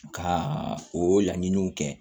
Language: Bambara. Ka o laɲiniw kɛ